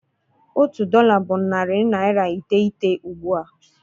Otu dọla bụ narị naịra iteghete ugbua.